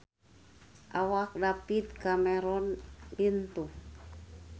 Awak David Cameron lintuh